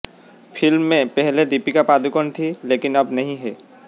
film में पहले दीपिका पादुकोण थीं लेकिन अब नहीं हैं